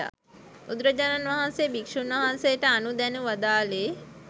බුදුරජාණන්වහන්සේ භික්‍ෂූන් වහන්සේ ට අනුදැන වදාළේ